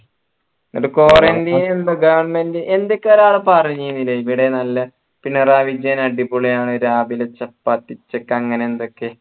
quarantine എന്തോ govt ഏതൊക്കെയോ പറഞ്ഞീനില്ലേ ഇവിടെ നല്ല പിണറായി വിജയൻ അടിപൊളി ആണ് രാവിലെ ചപ്പാത്തി ഉച്ചക്ക് അങ്ങനെ എന്തൊക്കയോ